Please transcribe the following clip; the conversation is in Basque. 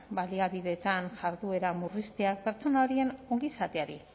baliabideetan jarduera murrizteak pertsona horien ongizateari